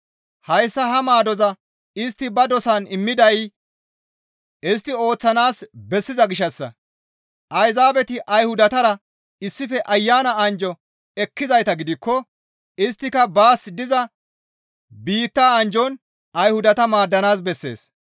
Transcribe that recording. Hayssa ha maadoza istti ba dosan immiday istti ooththanaas bessiza gishshassa; Ayzaabeti Ayhudatara issife Ayana anjjo ekkizayta gidikko isttika baas diza biittaa anjjon Ayhudata maaddanaas bessees.